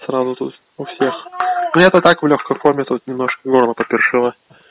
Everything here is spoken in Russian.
сразу то есть у всех но я то так только в лёгкой форме тут немножко в горле по першило